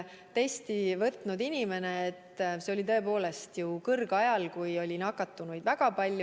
See oli tõepoolest kõrgajal, kui nakatunuid oli väga palju.